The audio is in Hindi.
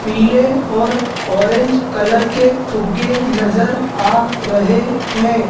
पीले और औरेंज कलर के फुगे नजर आ रहे है।